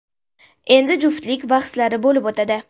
Endi juftlik bahslari bo‘lib o‘tadi.